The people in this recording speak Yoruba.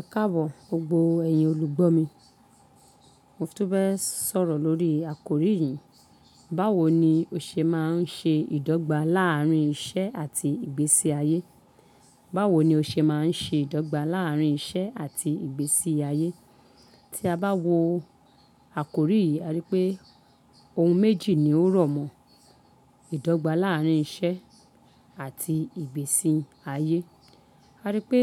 Ẹkáàbọ̀, gbogbo ẹ̀yin olùgbọ́ mi. Mo fún tó fẹ́ẹ̀ sọ̀rọ̀ lórí àkórí yìí. Báwo ni o ṣe máa ń ṣe ìdọ́gba láàárín iṣẹ́ àti ìgbésí ayé? Báwo ni o ṣe máa ń ṣe ìdọ́gba láàárín iṣẹ́ àti ìgbésí ayé? Tí a bá wo àkórí yìí, a rí pé ohun méjì ni ó rọ̀mọ́ ìdọ́gba láàárín iṣẹ́ àti ìgbésí ayé. A rí pé